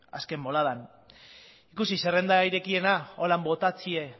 azken boladan ikusi zerrenda irekiena horrela botatzea